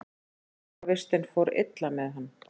Fangavistin fór illa með hann.